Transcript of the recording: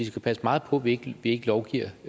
skal passe meget på at vi ikke lovgiver